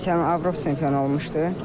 Keçən il Avropa çempionu olmuşdu.